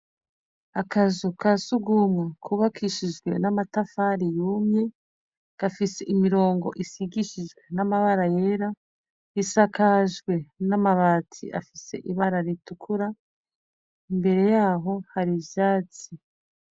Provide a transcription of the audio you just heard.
Akazu ka surwumwe kubakishije n'amatafari yumye, gafise imirongo isigishijwe n'amabara yera. Isakajwe n'amabati afise ibara ritukura. Imbere yaho hari ivyatsi.